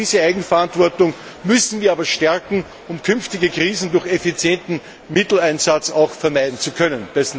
Gerade diese Eigenverantwortung müssen wir aber stärken, um künftige Krisen durch effizienten Mitteleinsatz vermeiden zu können.